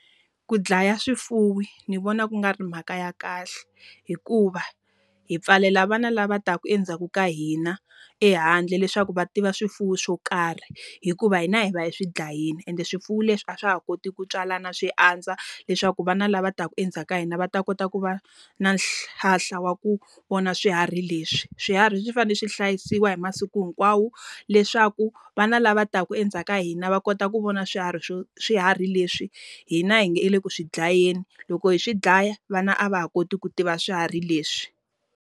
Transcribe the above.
Ku dlaya swifuwo ni vona ku nga ri mhaka ya kahle. Hikuva hi pfalela vana lava taka endzhaku ka hina, ehandle leswaku va tiva swifuwo swo karhi, hikuva hina hi va hi swi dlayile. Ende swifuwo leswi a swa ha koti ku tswalana swi andza, leswaku vana lava taka endzhaku ka hina va ta kota ku va na wa ku vona swiharhi leswi. Swiharhi swi fanele swi hlayisiwa hi masiku hinkwawo, leswaku vana lava taka endzhaku ka hina va kota ku vona swiharhi swo swiharhi leswi hina hi nga le ku swi dlayeni. Loko hi swi dlaya vana a va ha koti ku tiva swiharhi leswi.